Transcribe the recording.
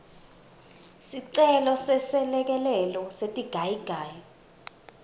sicelo seselekelelo setigayigayi